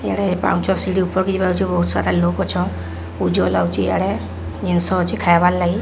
ଆଡ଼େ ପାଉଁଞ୍ଚ ସିଡି ପାକେଇକି ବସ ଉଜ୍ଜଳ ଲାଗୁଚି ଆଡ଼େ ଜିନିଷ ଅଛି ଖାଇବାର ଲାଗି।